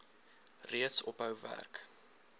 reeds ophou werk